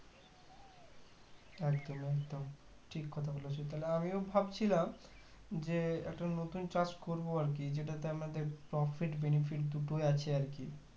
একদম একদম ঠিক কথা বলছো তাহলে আমিও ভাবছিলাম যে একটা নতুন চাষ করবো আর কি যেটাতে আমাদের profit benefit দুটোই আছে আরকি